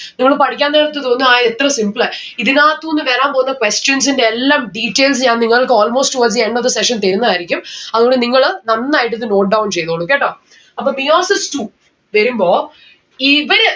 നിങ്ങള് പഠിക്കാൻ നേരത്ത് തോന്നും ആ എത്ര simple ആ. ഇതിനാത്തൂന്ന് വരാൻ പോവുന്ന questions ന്റെ എല്ലാം details ഞാൻ നിങ്ങൾക്ക് almost towards the end of the session തരുന്നതായിരിക്കും. അതുകൊണ്ട് നിങ്ങള് നന്നായിട്ടിത് note down ചെയ്‌തോളൂ കേട്ടോ? അപ്പൊ meiosis two വരുമ്പോ ഇവിടെ